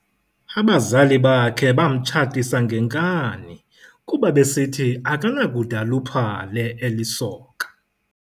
Abazali bakhe bamtshatisa ngenkani kuba besithi akanakude aluphale eselisoka